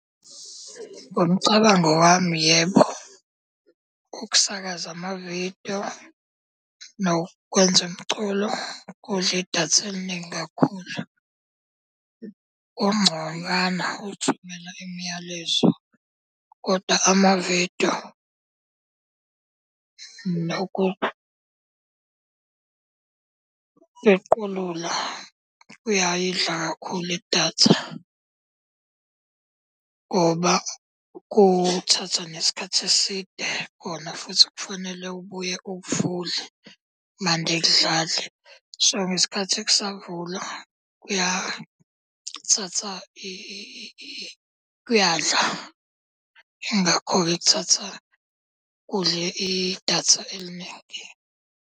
Ngomcabango wami, yebo, ukusakaza amavidiyo nokwenza umculo kudla idatha eliningi kakhulu. Kungconywana ukuthumela imiyalezo, kodwa amavidiyo nokupequlula kuyayidla kakhulu idatha ngoba kuthatha nesikhathi eside kona futhi kufanele ubuye ukuvule mande kudlale. So, ngesikhathi kusavulwa kuyathatha kuyadlula. Ingakho-ke kuthatha kudle idatha eliningi.